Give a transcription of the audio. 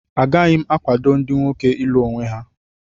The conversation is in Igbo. Agaghị m akwado ndị nwoke ịlụ onwe ha